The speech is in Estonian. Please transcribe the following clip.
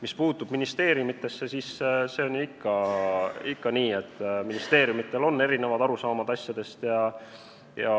Mis puutub ministeeriumidesse, siis see on ju ikka nii, et neil on erinevad arusaamad asjadest.